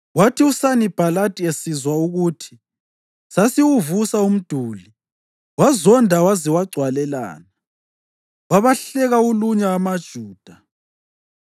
Kwathi uSanibhalathi esizwa ukuthi sasiwuvusa umduli, wazonda waze wagcwalelana. Wabahleka ulunya amaJuda,